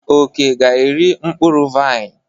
Oke ga-eri mkpụrụ vaịn.